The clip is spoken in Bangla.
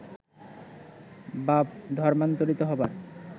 বা ধর্মান্তরিত হবার